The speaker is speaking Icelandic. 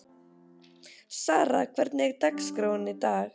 Sara, hvernig er dagskráin í dag?